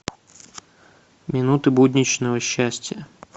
минуты будничного счастья